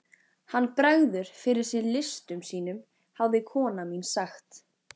Hann bregður fyrir sig listum sínum hafði kona mín sagt.